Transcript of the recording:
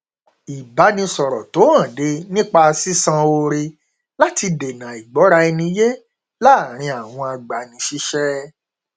ìbánisọrọ tó hànde nípa sisan oore láti dènà àìgbọra ẹni yé láàrin àwọn agbani síṣẹ